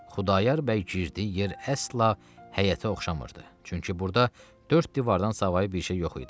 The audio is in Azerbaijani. Xudayar bəy girdiyi yer əsla həyətə oxşamırdı, çünki burda dörd divardan savayı bir şey yox idi.